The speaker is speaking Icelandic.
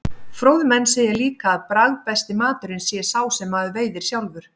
Fróðir menn segja líka að bragðbesti maturinn sé sá sem maður veiðir sjálfur.